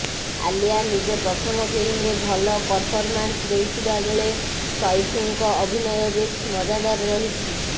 ଆଲ୍ୟା ନିଜ ପ୍ରଥମ ଫିଲ୍ମରେ ଭଲ ପରଫରମାନ୍ସ ଦେଇଥିବାବେଳେ ସୈଫ୍ଙ୍କ ଅଭିନୟ ବେଶ୍ ମଜାଦାର ରହିଛି